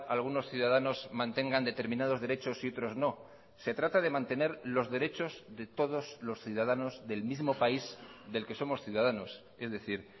algunos ciudadanos mantengan determinados derechos y otros no se trata de mantener los derechos de todos los ciudadanos del mismo país del que somos ciudadanos es decir